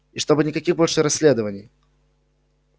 и чтобы никаких больше расследований